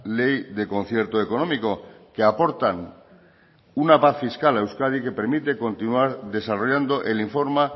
ley de concierto económico que aportan una paz fiscal a euskadi que permite continuar desarrollando el informe